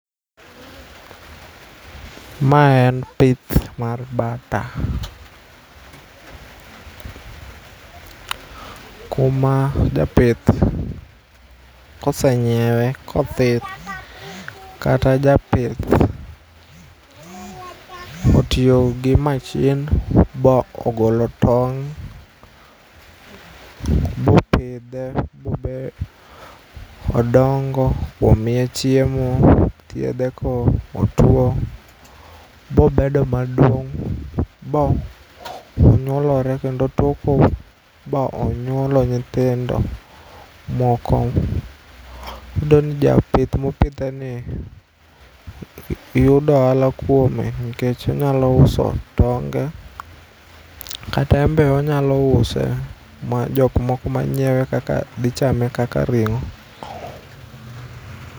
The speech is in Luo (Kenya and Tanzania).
Ma en pith mar bata. Kuma japith kosenyiewe kothin kata japith otio gi machine bo ogolo tong' bopidhe bobe odongo bomiye chiemo. Ithiedhe kotuo bobedo maduong' bonyuolore kendo toko ba onyuolo nyithindo moko. Iyudoni japith mopidheni yudo ohala kuome nikech onyalo uso tonge kata enbe onyalo use ma jokmoko manyiewe kaka dhi chame kaka ring'o.